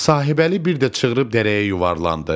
Sahibəli bir də çığırıb dərəyə yuvarlandı.